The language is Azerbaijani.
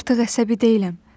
Artıq əsəbi deyiləm.